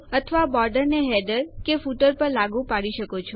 અથવા બોર્ડરને હેડર કે ફૂટર પર લાગુ પાડી શકો છો